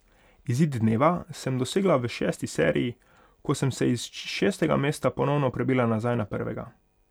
Izid dneva sem dosegla v šesti seriji, ko sem se iz šestega mesta ponovno prebila nazaj na prvega.